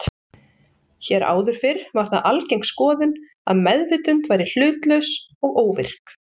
Hér áður fyrr var það algeng skoðun að meðvitund væri hlutlaus og óvirk.